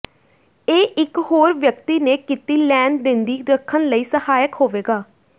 ਇਹ ਇੱਕ ਹੋਰ ਵਿਅਕਤੀ ਨੇ ਕੀਤੀ ਲੈਣ ਦਿੰਦੀ ਰੱਖਣ ਲਈ ਸਹਾਇਕ ਹੋਵੇਗਾ